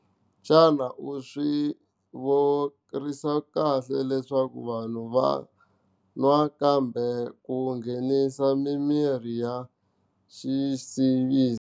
Xana u swi kahle leswaku vanhu va va kambe ku nghenisa mimirhi ya vuxisi.